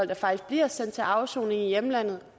der faktisk bliver sendt til afsoning i hjemlandet